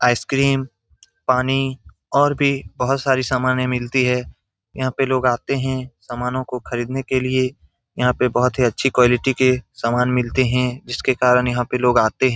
Ice cream पानी और भी बहुत सारी समाने मिलती हैं यहाँ पे लोग आते हैं समानों को खरीदने के लिए यहाँ पे बहुत ही अच्छी क्वालिटी के सामान मिलते हैं जिसके कारण यहाँ पे लोग आते हैं।